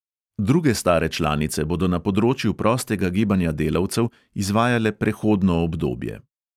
Druge stare članice bodo na področju prostega gibanja delavcev izvajale prehodno obdobje.